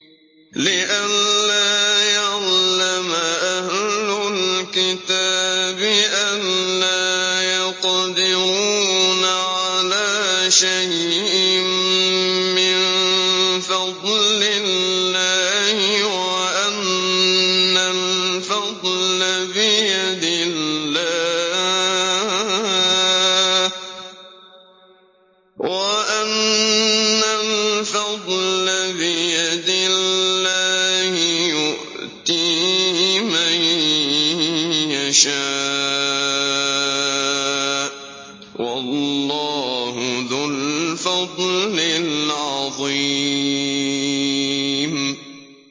لِّئَلَّا يَعْلَمَ أَهْلُ الْكِتَابِ أَلَّا يَقْدِرُونَ عَلَىٰ شَيْءٍ مِّن فَضْلِ اللَّهِ ۙ وَأَنَّ الْفَضْلَ بِيَدِ اللَّهِ يُؤْتِيهِ مَن يَشَاءُ ۚ وَاللَّهُ ذُو الْفَضْلِ الْعَظِيمِ